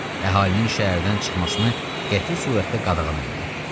Əhalinin şəhərdən çıxmasını qəti surətdə qadağan elədi.